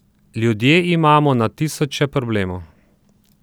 Ljudje imamo na tisoče problemov.